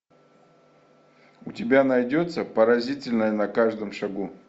у тебя найдется поразительное на каждом шагу